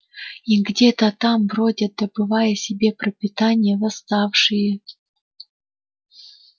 и где-то там бродят добывая себе пропитание восставшие